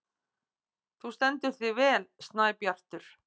Þú stendur þig vel, Snæbjartur!